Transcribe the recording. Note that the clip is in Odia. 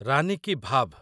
ରାନି କି ଭାଭ୍